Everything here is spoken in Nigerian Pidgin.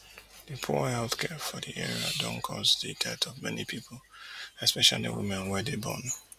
di poor healthcare for di area don cause di death of many pipu especially women wey dey born